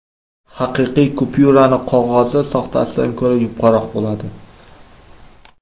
Haqiqiy kupyuraning qog‘ozi soxtasidan ko‘ra yupqaroq bo‘ladi.